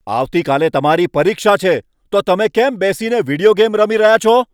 આવતીકાલે તમારી પરીક્ષા છે, તો તમે કેમ બેસીને વિડિયો ગેમ રમી રહ્યા છો?